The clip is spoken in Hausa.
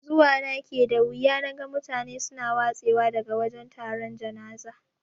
Zuwa na ke da wuya naga mutane suna watse wa daga wajan taron janaza.